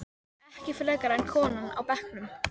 Ekki frekar en konan á bekknum.